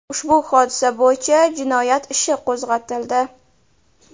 Ushbu hodisa bo‘yicha jinoyat ishi qo‘zg‘atildi.